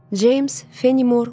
James Fenimore Cooper.